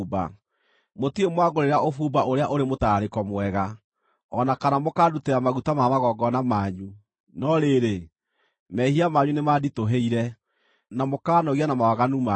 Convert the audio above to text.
Mũtirĩ mwangũrĩra ũbumba ũrĩa ũrĩ mũtararĩko mwega, o na kana mũkandutĩra maguta ma magongona manyu. No rĩrĩ, mehia manyu nĩmanditũhĩire na mũkaanogia na mawaganu manyu.